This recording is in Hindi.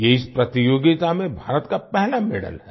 ये इस प्रतियोगिता में भारत का पहला मेडल है